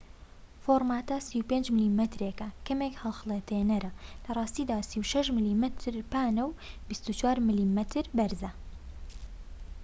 فۆرماتە 35 میلیمەتریەکە کەمێک هەڵخەڵەتێنەرە لە ڕاستیدا 36 میلیمەتر پانە و 24 میلیمەتر بەرزە